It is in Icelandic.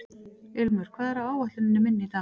Ilmur, hvað er á áætluninni minni í dag?